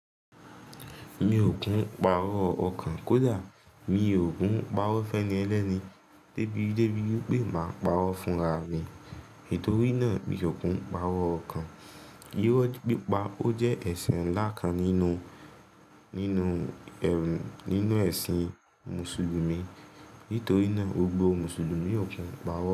Mi ò hún pa'rọ́ ọkàn kó dà, mi ò kún pa'rọ́ fẹ́ni ẹlẹ́ni débi débi pé máa pa'rọ́ fún ra mi. Nítorí náà, mi ò hún pa'rọ́ ọkàn. Irọ́ pípa ó jẹ́ ẹ̀sìn ńlá kan nínú, nínú ẹ̀sìn Mùsùlùmí. Nítorí náà, gbogbo Mùsùlùmí ò kì ń pa'rọ́.